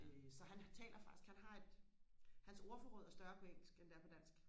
øh så han taler faktisk han har et hans ordforråd er større på engelsk end det er på dansk